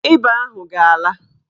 Ịba ahụ ga-ala.